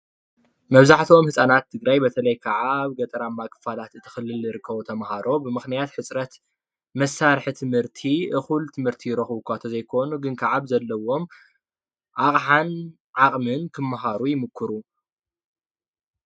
መብዛሕትኦም ህፃናት ትግራይ በተለይ ከዓ ኣብ ገጠራማ ክፋለት እቲ ክልል ዝርከቡ ተማሃሮ ብምክንያት ሕፅረት መሳርሒ ትምህርቲ እኩል ትምህርቲ ይረክቡ እኳ እንተዘይኮኑ ግን ከዓ ብዘለዎም ኣቅሓን ዓቅምን ክመሃሩ ይምኩሩ፡፡